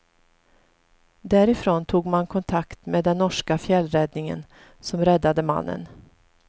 Därifrån tog man kontakt med den norska fjällräddningen, som räddade mannen.